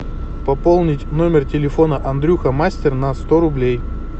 пополнить номер телефона андрюха мастер на сто рублей